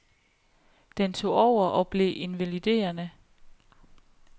Den tog over, og blev invaliderende.